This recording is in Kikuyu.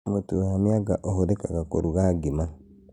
Mũtu wa mĩanga ũhũthĩkaga kũruga ngima